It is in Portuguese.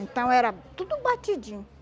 Então era tudo batidinho.